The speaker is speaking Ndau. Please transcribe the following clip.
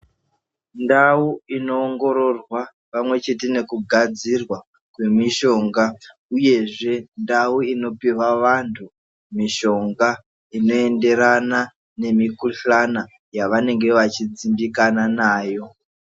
Ndau inoongororwa pamwe chete nekugadzirwa kwemishonga uyezve ndau inopihwa vantu mishonga inoenderana nemikuhlana yavanenge vachidzimbikana nayo.